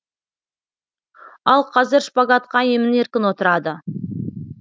ал қазір шпагатқа емін еркін отырады